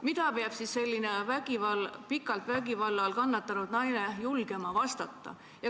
" Mida peab siis see pikalt vägivalla all kannatanud naine julgema vastata?